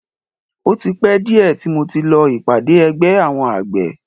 O ti pẹ́ díẹ̀ tí mo ti lọ ìpàdé ẹgbẹ́ àwọn àgbẹ̀.